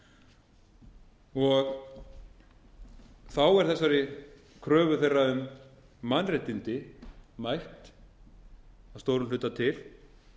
aðstoðarfólk og þá er þessari kröfu þeirra um mannréttindi mætt að stórum hluta til